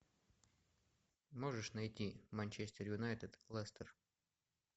можешь найти манчестер юнайтед лестер